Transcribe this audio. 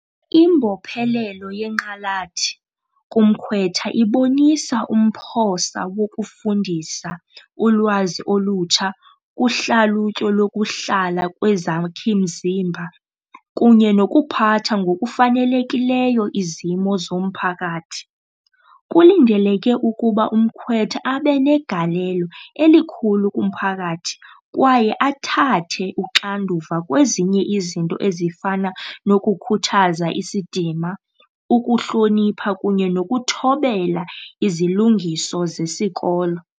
Imbophelelo yenqalathi kumkhwetha ibonisa umphosa wokufundisa ulwazi olutsha kuhlalutyo lokuhlala kwezakhi mzimba kunye nokuphatha ngokufanelekileyo izimo zomphakathi. Kulindeleke ukuba umkhwetha abe negalelo elikhulu kumphakathi kwaye athathe uxanduva kwezinye izinto ezifana nokukhuthaza isidima, ukuhlonipha kunye nokuthobela izilungiso zesikolo.